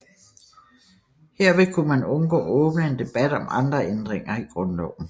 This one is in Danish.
Herved kunne man undgå at åbne en debat om andre ændringer i grundloven